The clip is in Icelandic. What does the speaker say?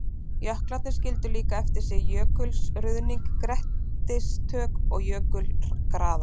Jöklarnir skildu líka eftir sig jökulruðning, grettistök og jökulgarða.